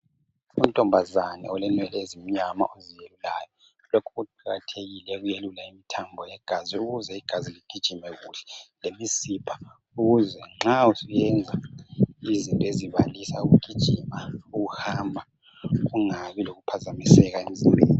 Untombazane olenwele ezimnyama oziyelulayo lokhu kuqakathekile ukwelula amathambo legazi ukuze igazi ligijime kuhle lemizimba ukuze nxa usuyenza izinto ezibalisa ukugijima, ukuhamba kungabi lokuphazamiseka emzimbeni